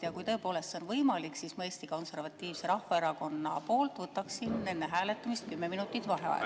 Ja kui tõepoolest see on võimalik, siis ma Eesti Konservatiivse Rahvaerakonna nimel võtaksin enne hääletamist 10 minutit vaheaega.